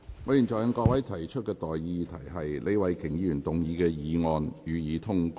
我現在向各位提出的待議議題是：李慧琼議員動議的議案，予以通過。